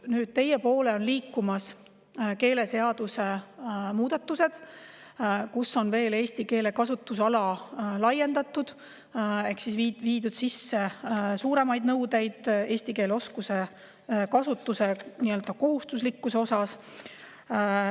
Nüüd, teie poole on liikumas keeleseaduse muudatused, millega laiendame eesti keele kasutusala ehk viime sisse suuremad nõuded eesti keele oskuse ja kasutuse kohustuslikkuse kohta.